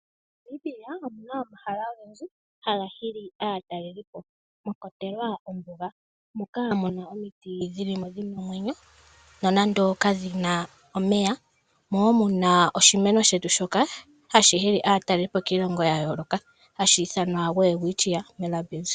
Namibia oku na omahala ogendji haga hili aatalelipo mwa kwatelwa ombuga, moka mu na omiti dhi li mo dhi na omwenyo nonando kadhi na omeya. Omo wo mu na oshimeno shetu shoka hashi hili aatalelipo kiilongo ya yooloka hashi ithanwa Welwitchia Mirabilis.